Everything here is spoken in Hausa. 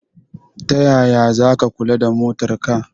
Tayaya zaka kula da motar ka?